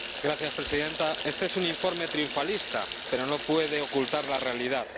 Señora Presidenta, este es un informe triunfalista, pero no puede ocultar la realidad.